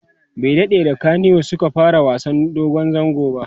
bai daɗe da kanywood Suka fara wasan dogon zango ba